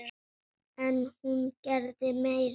En hún gerði meira.